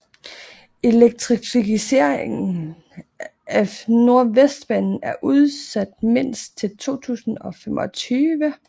Elektrificering af Nordvestbanen er udsat mindst til 2025